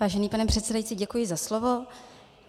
Vážený pane předsedající, děkuji za slovo.